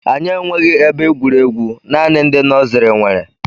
Anyị enweghi ebe egwuregwu, naanị ndị nọsiri nwere